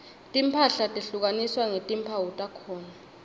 timphahla tehlukaniswa ngetimphawu takhona